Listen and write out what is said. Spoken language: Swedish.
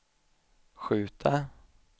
skjuta